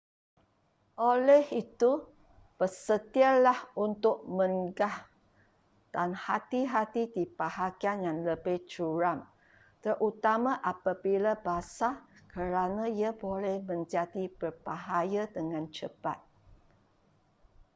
oleh itu bersedialah untuk mengah dan hati-hati di bahagian yang lebih curam terutama apabila basah kerana ia boleh menjadi berbahaya dengan cepat